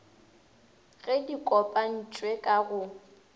gep di kopantšhwe ka go